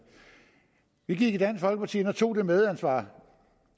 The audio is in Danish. vi gik i dansk folkeparti ind og tog det medansvar